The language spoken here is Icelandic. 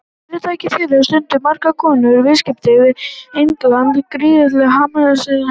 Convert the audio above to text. Fyrirtæki þeirra stundar margs konar viðskipti við England, gríðarlegir hagsmunir, herra.